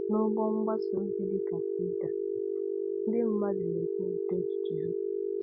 N’ụgbọ mgbasa ozi dị ka Twitter, ndị mmadụ na-ekwupụta echiche ha.